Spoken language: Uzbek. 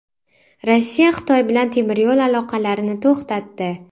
Rossiya Xitoy bilan temir yo‘l aloqalarini to‘xtatdi.